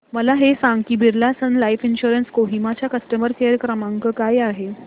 मला हे सांग की Birla sun life insurance Kohima चा कस्टमर केअर क्रमांक काय आहे